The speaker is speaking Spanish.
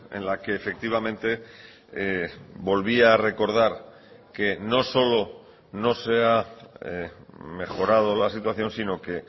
en la que efectivamente volvía a recordar que no solo no se ha mejorado la situación sino que